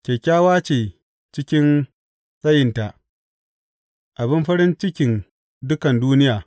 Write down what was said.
Kyakkyawa ce cikin tsayinta, abin farin cikin dukan duniya.